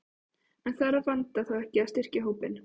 En þarf Vanda þá ekki að styrkja hópinn?